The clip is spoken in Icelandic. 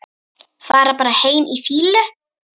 Fara bara heim í fýlu?